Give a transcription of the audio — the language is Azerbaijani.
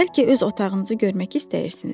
Bəlkə öz otağınızı görmək istəyirsiniz?